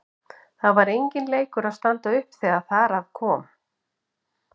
Það var enginn leikur að standa upp þegar þar að kom.